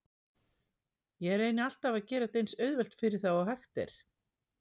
Ég reyni alltaf að gera þetta eins auðvelt fyrir þá og hægt er.